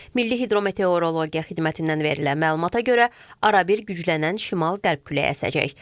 Milli hidrometeorologiya xidmətindən verilən məlumata görə, arabir güclənən şimal-qərb küləyi əsəcək.